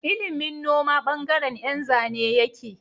Ilimin noma bangaren Yan Zane yake